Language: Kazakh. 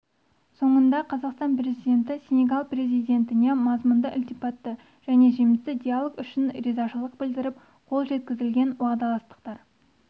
соңында қазақстан президенті сенегал президентіне мазмұнды ілтипатты және жемісті диалог үшін ризашылық білдіріп қол жеткізілген уағдаластықтар